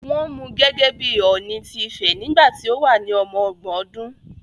Wọ́n mú gẹ́gẹ́ bí Ọ̀ọ̀ni ti Ifẹ̀ nígbà tí ó wà ní ọmọ ọgbọ̀n ọdún